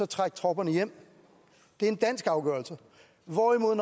trække tropperne hjem det er en dansk afgørelse hvorimod